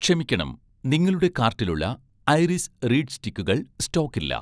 ക്ഷമിക്കണം, നിങ്ങളുടെ കാർട്ടിലുള്ള 'ഐറിസ്' റീഡ് സ്റ്റിക്കുകൾ സ്റ്റോക്കില്ല